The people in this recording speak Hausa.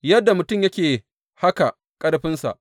Yadda mutum yake haka ƙarfinsa.’